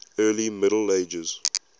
early middle ages